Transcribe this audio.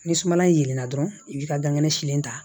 Ni suma in yelenna dɔrɔn i b'i ka dankɛnɛ silen ta